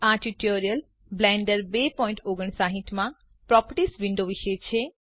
આ tutorial Blender 259 માં properties window વિશે છે